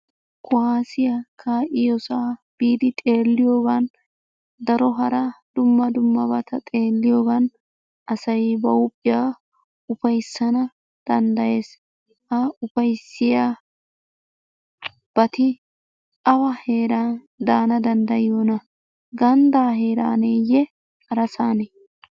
Kuwaasiya kaa'iyosaa biidi xeelliyogan daro hara dumma dummabata xeelliyogan asay ba huuphiya ufayssana danddayees. Ha ufayssiyabati awa heeran daana danddayiyonaa? Ganddaa heeraaneeyye harasaanee?